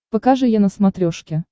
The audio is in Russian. покажи е на смотрешке